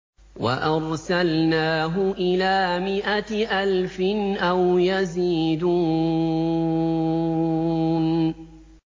وَأَرْسَلْنَاهُ إِلَىٰ مِائَةِ أَلْفٍ أَوْ يَزِيدُونَ